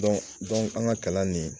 an ka kalan nin